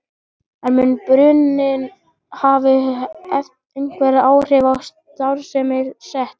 En mun bruninn hafa einhver áhrif á starfsemi Sets?